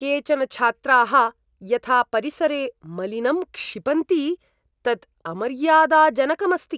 केचन छात्राः यथा परिसरे मलिनं क्षिपन्ति तत् अमर्यादाजनकम् अस्ति।